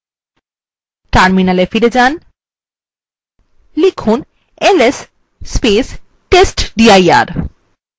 terminal ফিরে যান এবং লিখুন ls testdir